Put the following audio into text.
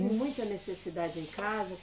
Muita necessidade em casa?